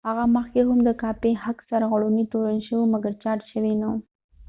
هغه مخکې هم د کاپي حق سرغړونې تورن شوی و مګر چارج شوي نه وو